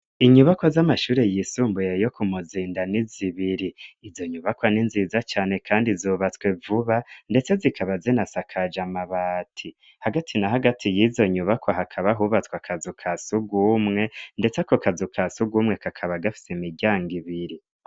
Inyubako z'amashuri yisumbuye yo ku muzinda ni zibiri izo nyubakwa ninziza cane, kandi zubatswe vuba, ndetse zikaba zina sakaja amabati hagati na hagati yizonyubakwa hakaba hubatswa kazu ka sugumwe, ndetse ko kazu ka sugumwe kakaba gafise imiryango ibiri.